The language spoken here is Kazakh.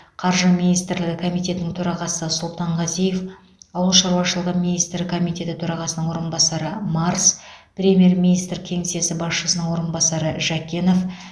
қаржы министрлігі комитетінің төрағасы сұлтанғазиев ауыл шаруашылығы министрлігі комитеті төрағасының орынбасары марс премьер министр кеңсесі басшысының орынбасары жәкенов